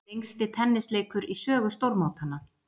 Lengsti tennisleikur í sögu stórmótanna